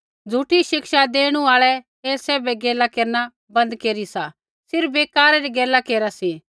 झ़ूठी शिक्षा देणु आल़ै ऐ सैभ गैला केरना बन्द केरी सा सिर्फ़ बेकारा री गैला केरा सी